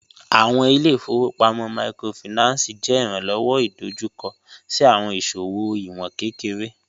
Awọn ile-ifowopamọ Microfinance jẹ iranlọwọ idojukọ si awọn iṣowo iwọn kekere